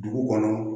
Dugu kɔnɔ